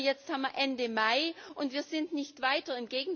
Aber jetzt haben wir Ende Mai, und wir sind nicht weiter.